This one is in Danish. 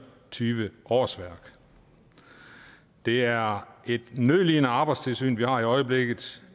og tyve årsværk det er et nødlidende arbejdstilsyn vi har i øjeblikket